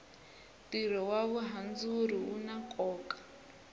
tiro wa vuhandzuri una koka